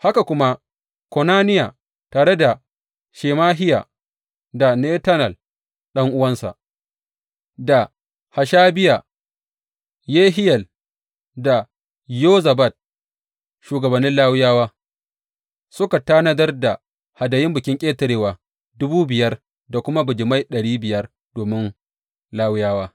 Haka kuma Konaniya tare da Shemahiya da Netanel, ɗan’uwansa, da Hashabiya, Yehiyel da Yozabad, shugabannin Lawiyawa, suka tanadar da hadayun Bikin Ƙetarewa dubu biyar da kuma bijimai ɗari biyar domin Lawiyawa.